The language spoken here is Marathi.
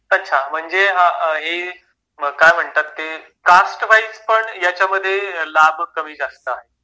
अच्छा म्हणजे हे मग काय म्हणतात की कास्ट वाईज पण याच्यामध्ये लाभ कमी जास्त असतात